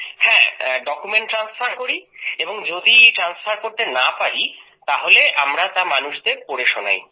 document transferও করি এবং যদি ট্রান্সফার করতে না পারি তাহলে আমরা তা মানুষদের পড়ে শোনাই